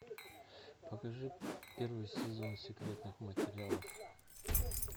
покажи первый сезон секретных материалов